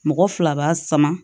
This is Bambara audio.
Mɔgɔ fila b'a sama